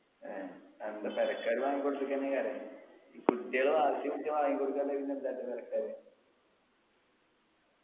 ഏഹ് പെരക്കാര് ഈ കുട്ടികള് വാശി വാങ്ങിക്കൊടു